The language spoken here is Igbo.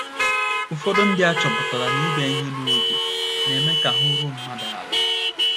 Ụfọdụ ndị achọpụtala na ịbịa ihe n’oge na - eme ka ahụ́ ruo mmadụ ala.